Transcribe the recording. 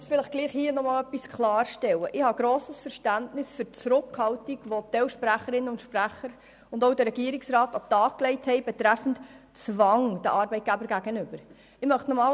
Ich habe grosses Verständnis für die Zurückhaltung, die sowohl gewisse Sprecherinnen und Sprecher als auch der Regierungsrat gegenüber einem den Arbeitgebern aufgelegten Zwang äussern.